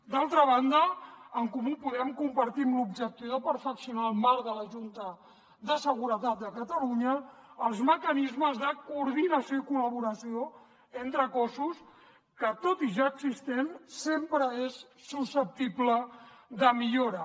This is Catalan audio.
d’altra banda a en comú podem compartim l’objectiu de perfeccionar el marc de la junta de seguretat de catalunya els mecanismes de coordinació i col·laboració entre cossos que tot i ja existent sempre és susceptible de millora